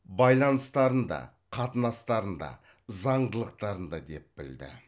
байланыстарында қатынастарында заңдылықтарында деп білді